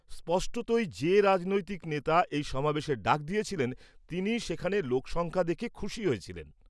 স্পষ্টতই, যে রাজনৈতিক নেতা এই সমাবেশের ডাক দিয়েছিলেন তিনি সেখানে লোকসংখ্যা দেখে খুশি হয়েছিলেন।